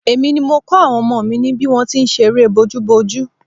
Èmi ni mo kọ́ àwọn ọmọ mi ní bí wọ́n ti ń ṣe eré bójúbojú